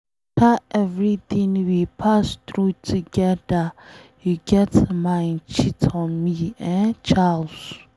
After everything we pass through together you get mind cheat on me, eh Charles.